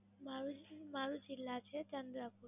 મારું મારું જિલ્લા છે ચંદ્રક